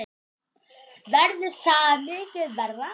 Verður það mikið verra?